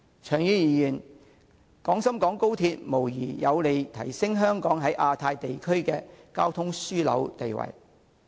長遠而言，廣深港高鐵無疑有利提升香港在亞太地區的交通樞紐地位。